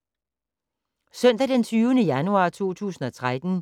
Søndag d. 20. januar 2013